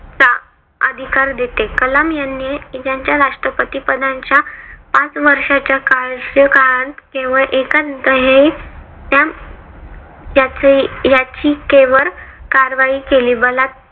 अधिकार देते. कलाम यांनी त्यांच्या राष्ट्रपती पदाच्या पाच वर्षाच्या कार्यकाळात केवळ एका नंतर हे ह्या ह्याची याची केवळ कारवाही केली. बला